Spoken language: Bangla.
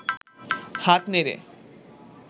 হাত নেড়ে